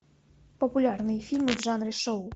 популярные фильмы в жанре шоу